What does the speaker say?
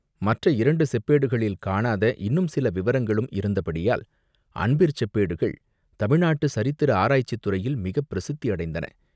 மற்ற இரண்டு செப்பேடுகளில் காணாத இன்னும் சில விவரங்களும் இருந்தபடியால் "அன்பிற் செப்பேடுகள்" தமிழ் நாட்டுச் சரித்திர ஆராய்ச்சித் துறையில் மிகப் பிரசித்தி அடைந்தன.